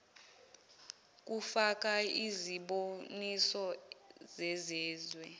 kufaka iziboniso zezezwe